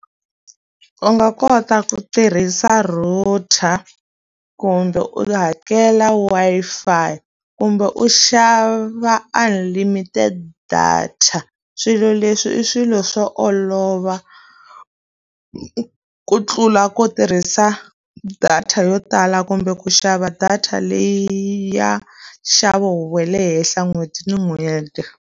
U nga kota ku tirhisa router kumbe u hakela Wi-Fi, kumbe u xava unlimited data. Swilo leswi i swilo swo olova, ku tlula ku tirhisa data yo tala kumbe ku xava data leyi ya nxavo wa le henhla n'hweti ni n'hweti.